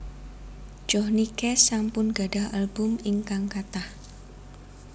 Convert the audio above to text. Johnny Cash sampun gadhah album ingkang kathah